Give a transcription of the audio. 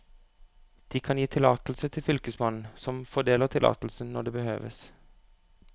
De kan gi tillatelse til fylkesmannen, som fordeler tillatelsen når det behøves.